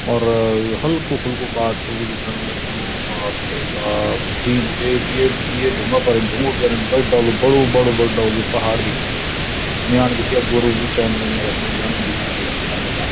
और हल्कू फुल्कू बाटू भी दिखेंण लग्युं बाप रे बाप तीन येक डेड ये ये ढुंगा पर ढुंगु जन बड़ु डालू बड़ु बड़ु बड़ु डालू पहाड़ दिखेंण लग्युं म्याण दिखे यख गोरो भी चैन लग्यां यख्मा झन भी दिखेंण लग्यां धन धन।